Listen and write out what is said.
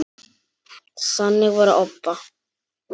Þannig var Obba.